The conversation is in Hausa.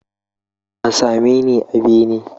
Ka same ni a bene!